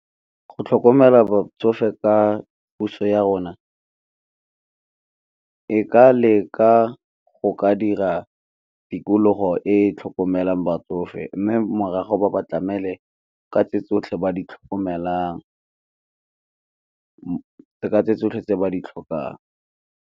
Go tlhokomela batsofe ka puso ya rona, e ka leka go ka dira tikologo e tlhokomelang batsofe, mme morago ba ba tlamele ka tse tsotlhe tse ba di tlhokang.